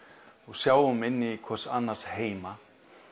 sjáum inn í hvors annars heima